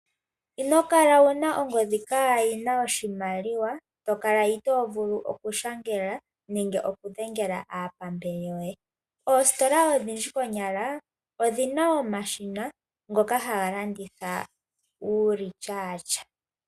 Inokala wuna ongodhi kaayina oshimaliwa, tokala itoovulu okushangela nenge okudhengela aapambele yoye. Oositola odhindji konyala, odhina omashina ngoka haga landitha uulityaatya.